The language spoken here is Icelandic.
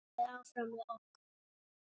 Þið lifið áfram með okkur.